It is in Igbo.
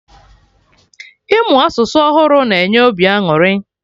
Ịmụ asụsụ ọhụrụ na-enye obi aṅụrị